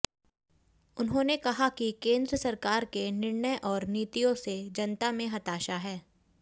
उन्होंने कहा कि केंद्र सरकार के निर्णय और नीतियों से जनता में हताशा है